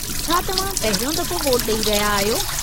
छा तव्हां पहिरियों दफ़ो वोटु ॾेई रहिया आहियो?